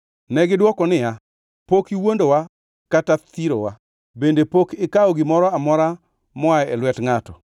Negidwoko niya, “Pok iwuondowa kata thirowa. Bende pok ikawo gimoro amora moa e lwet ngʼato.”